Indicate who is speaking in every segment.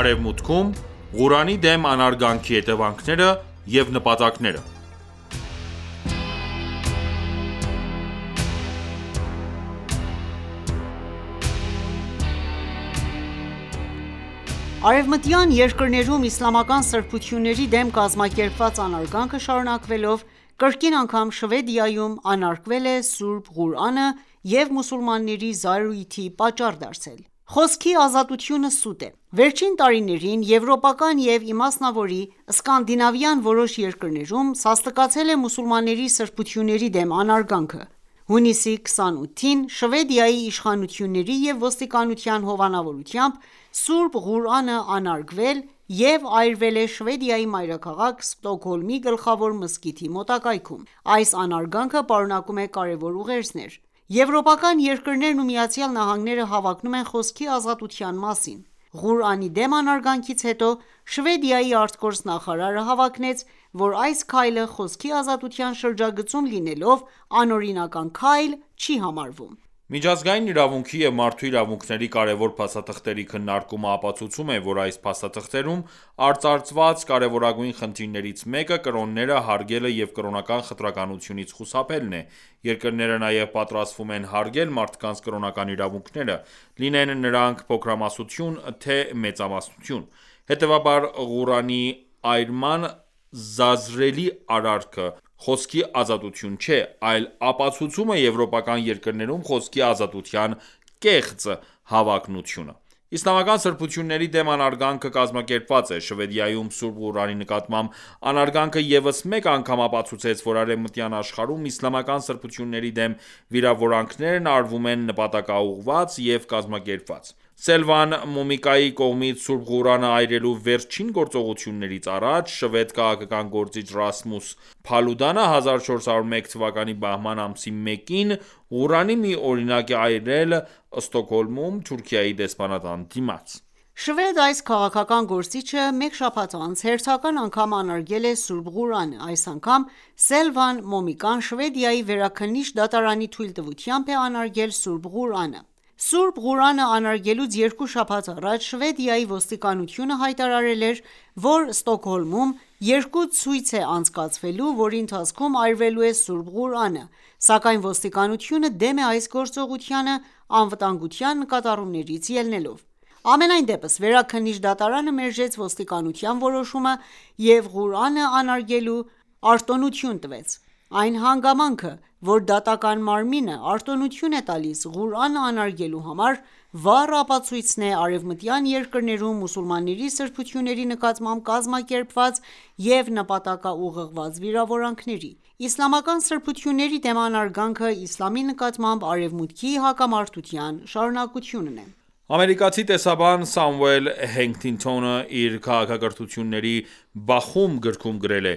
Speaker 1: Արևմուտքում ,Ղուրանի դեմ անարգանքի հետևանքները և նպատակները
Speaker 2: Արևմտյան երկրներում իսլամական սրբությունների դեմ «կազմակերպված»անարգանքը շարունակվելով, կրկին անգամ Շվեդիայում անարգվել է Սրբ.Ղուրանը և մուսուլմանների զայրույթի պատճառ դարձել: Խոսքի ազատությունը սուտ է: Վերջին տարիներին եվրոպական և իմասնավորի Սկանդինավյան որոշ երկրներում սաստկացել է մուսուլմանների սրբությունների դեմ անարգանքը: Հունիսի 28-ին Շվեդիայի իշխանությունների և ոստիկանության հովանավորությամբ, Սուրբ Ղուրանը անարգվել և այրվել է Շվեդիայի մայրաքաղաք Ստոկհոլմի գլխավոր մզկիթի մոտակայքում։ Այս անարգանքը պարունակում է կարևոր ուղերձներ։ Եվրոպական երկրներն ու ԱՄՆ-ն հավակնում են խոսքի ազատության մասին:Ղուրանի դեմ անարգանքից հետո ,Շվեդիայի արտգործնախարարը հավակնեց ,որ այս քայլը խոսքի ազատության շրջագծում լինելով ,անօրինական քայլ չի համարվում:
Speaker 1: Միջազգային իրավունքի և մարդու իրավունքների կարևոր փաստաթղթերի քննարկումը ապացուցում է, որ այս փաստաթղթերում արծարծված կարևորագույն խնդիրներից մեկը կրոնները հարգելը և կրոնական խտրականությունից խուսափելն է, ևերկրները նաև պարտավորվում են հարգել մարդկանց կրոնական իրավունքները, լինեն նրանք փոքրամասնություն, թե մեծամասնություն: Հետևաբար, Ղուրանի այրման զազրելի արարքը խոսքի ազատություն չէ, այլ ապացուցում է եվրոպական երկրներում խոսքի ազատության կեղծ հավակնությունը։ Իսլամական սրբությունների դեմ անարգանքը կազմակերպված է: Շվեդիայում Սուրբ Ղուրանի նկատմամբ անարգանքը, ևս մեկ անգամ ապացուցեց, որ արևմտյան աշխարհում իսլամական սրբությունների դեմ վիրավորանքներն արվում են նպատակաուղղված և կազմակերպված: Սելվան Մոմիկայի կողմից Սուրբ Ղուրանը այրելու վերջին գործողությունից առաջ, շվեդ քաղաքական գործիչ Ռասմուս Փալուդանը 1401 թվականի բահման ամսի 1-ին, Ղուրանի մի օրինակ է այրել Ստոկհոլմում, Թուրքիայի դեսպանատան դիմաց:
Speaker 2: Շվեդ այս քաղաքական գործիչը մեկ շաբաթ անց հերթական անգամ անարգել է Սուրբ Ղուրանը: Այս անգամ Սելվան Մոմիկան Շվեդիայի վերաքննիչ դատարանի թույլտվությամբ է անարգել Սուրբ Ղուրանը։ Սուրբ Ղուրանը անարգելուց երկու շաբաթ առաջ ,Շվեդիայի ոստիկանությունը հայտարարել էր, որ Ստոկհոլմում երկու ցույց է անցկացվելու, որի ընթացքում այրվելու է Սուրբ Ղուրանը, սակայն ոստիկանությունը դեմ է այս գործողությանը անվտանգության նկատառումներից ելնելով։ Համենայն դեպս Վերաքննիչ դատարանը մերժեց ոստիկանության որոշումը և Ղուրանը անարգելու արտոնություն տվեց։ Այն հանգամանքը, որ դատական մարմինը արտոնություն է տալիս Ղուրանը անարգելու համար, վառ ապացույցն է արևմտյան երկրներում մուսուլմանների սրբությունների նկատմամբ կազմակերպված և նպատակաուղղված վիրավորանքների: Իսլամական սրբությունների դեմ անարգանքը, Իսլամի նկատմամբ Արևմուտքի հակամարտության շարունակությունն է:
Speaker 1: Ամերիկացի տեսաբան Սամուել Հանթինգթոնը, իր «Քաղաքակրթությունների բախում» գրքում գրել է.«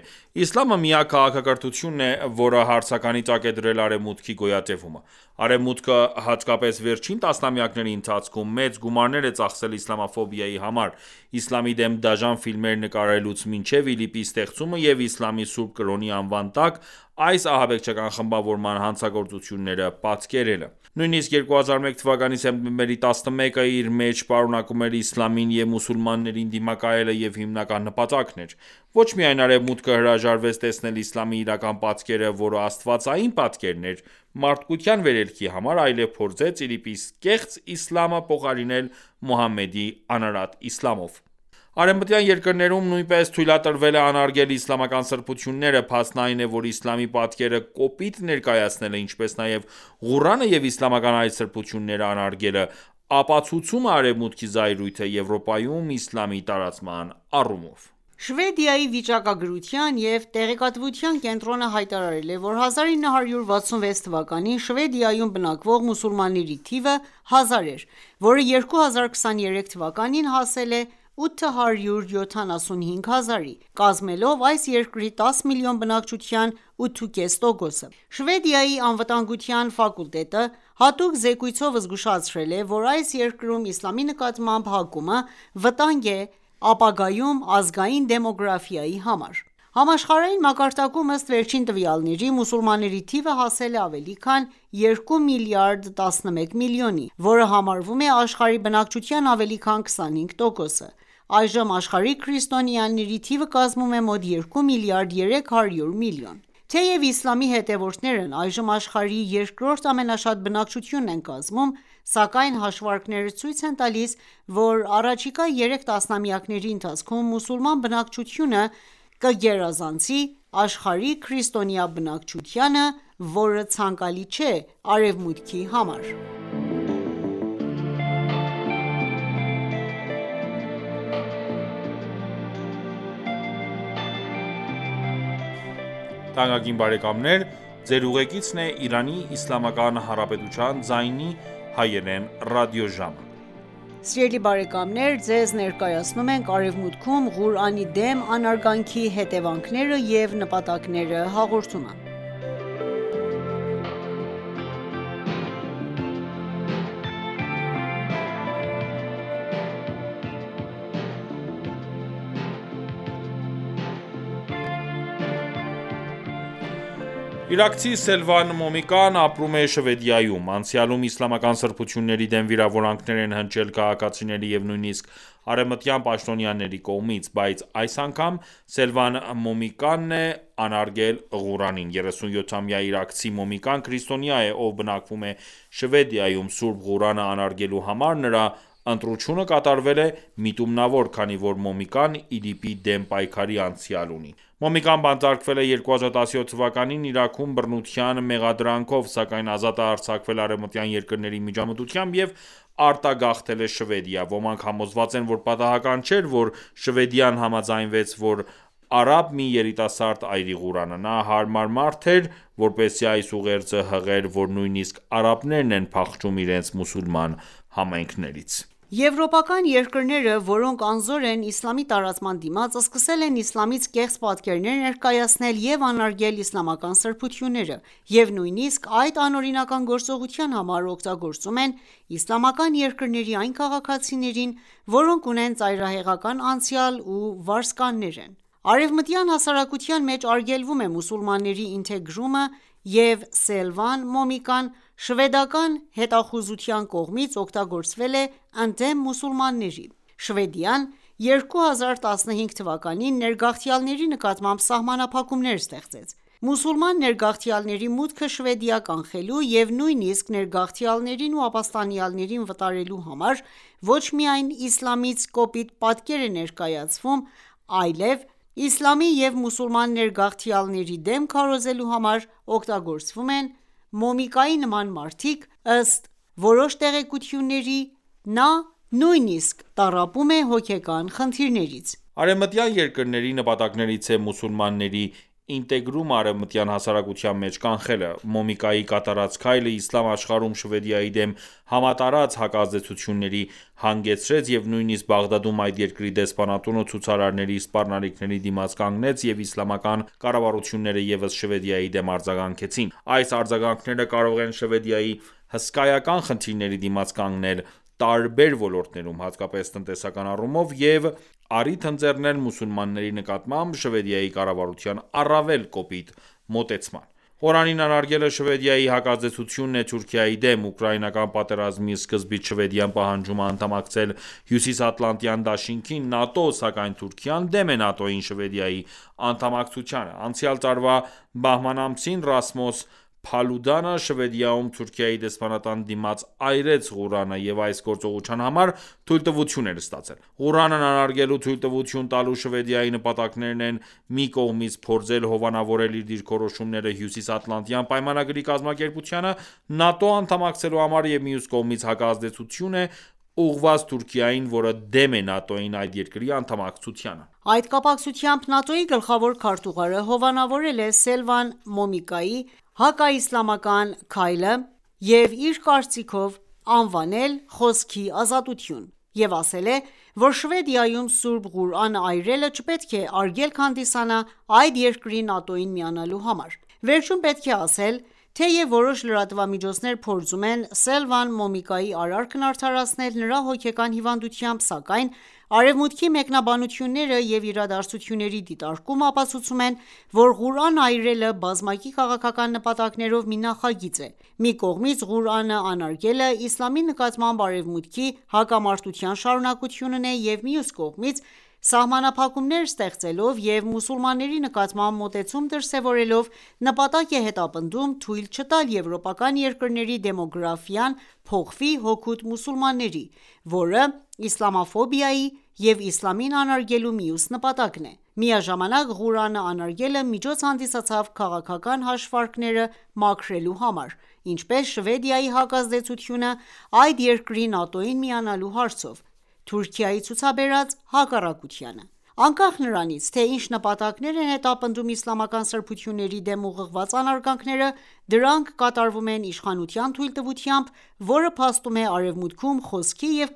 Speaker 1: Իսլամը միակ քաղաքակրթությունն է, որը հարցականի տակ է դրել Արևմուտքի գոյատևումը»: Արեւմուտքը, հատկապես վերջին տասնամյակների ընթացքում ,մեծ գումարներ է ծախսել իսլամաֆոբիայի համար ՝ Իսլամի դեմ դաժան ֆիլմեր նկարելուց մինչև ԻԼԻՊ-ի ստեղծումը և Իսլամի սուրբ կրոնի անվան տակ, այս ահաբեկչական խմբավորման հանցագործությունները պատկերելը: Նույնիսկ 2001թ. սեպտեմբերի 11-ը, իր մեջ պարունակում էր Իսլամին և մուսուլմաններին դիմակայելը և հիմնական նպատակն էր: Ոչ միայն Արևմուտքը հրաժարվեց տեսնել իսլամի իրական պատկերը, որը աստվածային պատկերն էր՝ մարդկության վերելքի համար, այլև փորձեց ԻԼԻՊ-ի կեղծ Իսլամը փոխարինել Մուհամմեդի անարատ իսլամով: Արևմտյան երկրներում նույնպես թույլատրվել է անարգել իսլամական սրբությունները: Փաստն այն է, որ Իսլամի պատկերը կոպիտ ներկայացնելը, ինչպես նաև Ղուրանը և իսլամական այլ սրբությունները անարգելը ,ապացուցում է Արևմուտքի զայրույթը, Եվրոպայում իսլամի տարածման առումով:
Speaker 2: Շվեդիայի վիճակագրության և տեղեկատվության կենտրոնը հայտարարել է, որ 1966 թվականին Շվեդիայում բնակվող մուսուլմանների թիվը 1000 էր, որը 2023 թվականին հասել է 875 հազարի, կազմելով այս երկրի 10 միլիոն բնակչության 8,5%-ը։ Շվեդիայի անվտանգության ֆակուլտետը հատուկ զեկույցով զգուշացրել է, որ այս երկրում Իսլամի նկատմամբ հակումը «վտանգ է ապագայում ազգային դեմոգրաֆիայի համար»։ Համաշխարհային մակարդակում, ըստ վերջին տվյալների, մուսուլմանների թիվը հասել է ավելի քան 2 միլիարդ 11 միլիոնի, որը համարվում է աշխարհի բնակչության ավելի քան 25 տոկոսը։ Այժմ աշխարհում քրիստոնյաների թիվը կազմում է մոտ 2 միլիարդ 300 միլիոն: Թեև իսլամի հետևորդներն այժմ աշխարհի երկրորդ ամենաշատ բնակչությունն են կազմում, սակայն հաշվարկները ցույց են տալիս, որ առաջիկա երեք տասնամյակների ընթացքում մուսուլման բնակչությունը կգերազանցի աշխարհի քրիստոնյա բնակչությանը, որը ցանկալի չէ Արևմուտքի համար:
Speaker 1: Իրաքցի Սելվան Մոմիկան, ապրում է Շվեդիայում:Անցյալում իսլամական սրբությունների դեմ վիրավորանքներ են հնչել քաղաքացիների և նույնիսկ արևմտյան պաշտոնյաների կողմից: Բայց այս անգամ Սելվան Մոմիկան է անարգել Սուրբ Ղուրանին։ 37-ամյա իրաքցի Մոմիկան քրիստոնյա է, ով բնակվում է Շվեդիայում: Սուրբ Ղուրանը անարգելու համար նրա ընտրությունը կատարվել է միտումնավոր, քանի որ Մոմիկան ,ԻԼԻՊ-ի դեմ պայքարի անցյալ ունի: Մոմիկան բանտարկվել է 2017 թվականին՝ Իրաքում բռնության մեղադրանքով, սակայն ազատ է արձակվել արևմտյան երկրների միջամտությամբ և արտագաղթել է Շվեդիա: Ոմանք համոզված են ,որ պատահական չէր ,որ Շվեդիան համաձայնվեց ,որ արաբ մի երիտասարդ այրի Ղուրանը: «Նա հարմար մարդ էր, որպեսզի այս ուղերձը հղեր, որ նույնիսկ արաբներն են փախչում իրենց մուսուլման համայնքներից»:
Speaker 2: Եվրոպական երկրները, որոնք անզոր են Իսլամի տարածման դիմաց, սկսել են իսլամից կեղծ պատկերներ ներկայացնել և անարգել իսլամական սրբությունները, և նույնիսկ այդ անօրինական գործողության համար ,օգտագործում են իսլամական երկրների այն քաղաքացիներին ,որոնք ունեն ծայրահեղական անցյալ ու վարձկաններ են: Արևմտյան հասարակության մեջ արգելվում է մուսուլմանների ինտեգրումը և Սելվան Մոմիկան շվեդական հետախուզության կողմից ,օգտագործվել է ընդդեմ մուսուլմանների ։Շվեդիան ,2015 թվականին ներգաղթյալների նկատմամբ սահմանափակումներ ստեղծեց: Մուսուլման ներգաղթյալների մուտքը Շվեդիա կանխելու և նույնիսկ ներգաղթյալներին ու ապստանյալներին վտարելու համար, ոչ միայն Իսլամից կոպիտ պատկեր է ներկայացվում ,այլև Իսլամի և մուսուլման ներգաղթյալների դեմ քարոզելու համար ,օգտագործվում են Մոմիկայի նման մարդիկ, և ըստ որոշ տեղեկությունների, նա նույնիսկ տառապում է հոգեկան խնդիրներից:
Speaker 1: Արեւմտյան երկրների նպատակներից է մուսուլմանների ինտեգրումը արեւմտյան հասարակության մեջ կանխելը։ Մոմիկայի կատարած քայլը, Իսլամ աշխարհում Շվեդիայի դեմ համատարած հակազդեցությունների հանգեցրեց, և նույնիսկ Բաղդադում ,այդ երկրի դեսպանատունը ցուցարարների սպառնալիքների դիմաց կանգնեց և իսլամական կառավարությունները ևս Շվեդիայի դեմ արձագանքեցին: Այս արձագանքները կարող են Շվեդիային հսկայական խնդիրների դիմաց կանգնեցել տարբեր ոլորտներում ,հատկապես տնտեսական առումով և առիթ ընձեռնել մուսուլմանների նկատմամբ Շվեդիայի կառավարության առավել կոպիտ մոտեցման: Ղուրանին անարգելը Շվեդիայի հակազդեցությունն է Թուրքիայի դեմ: Ուկրաինական պատերազմի սկզբից Շվեդիան պահանջում է անդամակցել Հյուսիսատլանտյան դաշինքին (ՆԱՏՕ), սակայն Թուրքիան դեմ է ՆԱՏՕ-ին Շվեդիայի անդամակցությանը: Անցյալ տարվա բահման ամսին, Ռասմոս Փալուդանը, Շվեդիայում Թուրքիայի դեսպանատան դիմաց այրեց Ղուրանը, և այս գործողության համար ,թույլտվություն էր ստացել: Ղուրանն անարգելու թույլտվություն տալու Շվեդիայի նպատակներն են՝, մի կողմից, փորձել հովանավորել իր դիրքորոշումները՝ Հյուսիսատլանտյան պայմանագրի կազմակերպությանը (ՆԱՏՕ) անդամակցելու համար և մյուս կողմից հակազդեցություն է ուղղված Թուրքիային ,որը դեմ է ՆԱՏՕ-ին այդ երկրի անդմակցությանը:
Speaker 2: Այդ կապակցությամբ ՆԱՏՕ-ի գլխավոր քարտուղարը հովանավորել է Սելվան Մոմիկայի հակաիսլամական քայլը եւ իր կարծիքով անվանել «խոսքի ազատություն»,և ասել է,որ Շվեդիայում սուրբ Ղուրանը այրելը չպետք է արգելք հանդիսանա այդ երկրի ՆԱՏՕ-ին միանալու համար: Վերջում պետք է ասել .« Թեեւ որոշ լրատվամիջոցներ փորձում են Սելվան Մոմիկայի արարքն արդարացնել նրա հոգեկան հիվանդությամբ, սակայն արևմուտքի մեկնաբանությունները և իրադարձությունների դիտարկումը ապացուցում են ,որ Ղուրան այրելը բազմակի քաղաքական նպատակներով մի նախագիծ է։Մի կողմից, Ղուրանը անարգելը, Իսլամի նկատմամբ Արևմուտքի հակամարտության շարունակությունն է,և մյուս կողմից՝ սահմանափակումներ ստեղծելով և մուսուլմանների նկատմամբ մոտեցում դրսևորելով ՝ նպատակ է հետապնդում թույլ չտալ եվրոպական երկրների դեմոգրաֆիան փոխվի հօգուտ մուսուլմանների.որը իսլամաֆոբիայի և Իսլամին անարգելու մյուս նպատակն է: Միաժամանակ Ղուրանը անարգելը միջոց հանդիսացավ քաղաքական հաշիվները մաքրելու համար ,ինչպես Շվեդիայի հակազդեցությունը այդ երկրի ՆԱՏՕ-ին միանալու հարցով Թուրքիայի ցուցաբերած հակառակությանը: Անկախ նրանից, թե ինչ նպատակներ են հետապնդում իսլամական սրբությունների դեմ ուղղված անարգանքները, դրանք կատարվում են իշխանության թույլտվությամբ, որը փաստում է Արևմուտքում խոսքի և